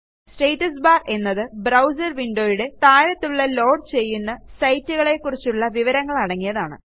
status bar എന്നത് browser windowയുടെ താഴത്തുള്ള ലോഡ് ചെയ്യുന്ന സൈറ്റുകളെക്കുറിച്ചുള്ള വിവരങ്ങളടങ്ങിയതാണ്